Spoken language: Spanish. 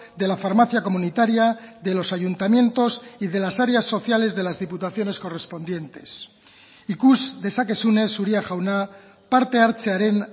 de la farmacia comunitaria de los ayuntamientos y de las áreas sociales de las diputaciones correspondientes ikus dezakezunez uria jauna parte hartzearen